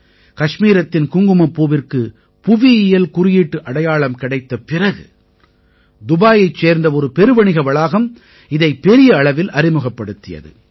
கஷ்மீரத்தின் குங்குமப்பூவிற்கு புவியியல் குறியீட்டு அடையாளம் கிடைத்த பிறகு துபாயைச் சேர்ந்த ஒரு பெருவணிக வளாகம் இதை பெரிய அளவில் அறிமுகப்படுத்தியது